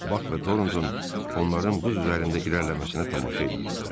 Bak və Torontoun onların buz üzərində irəliləməsinə tamaşa eləyirdilər.